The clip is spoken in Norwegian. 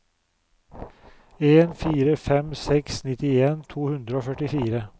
en fire fem seks nittien to hundre og førtifire